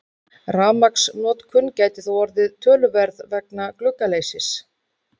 Rafmagnsnotkun gæti þó orðið töluverð vegna gluggaleysis.